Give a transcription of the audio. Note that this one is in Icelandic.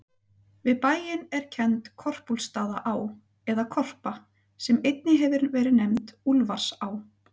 Við bæinn er kennd Korpúlfsstaðaá, eða Korpa, sem einnig hefur verið nefnd Úlfarsá.